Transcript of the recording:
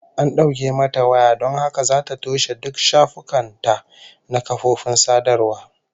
An dauke mata waya don haka zata toshe duk shafukan ta na kafofin sadarwa